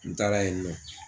N taara yenni nɔ.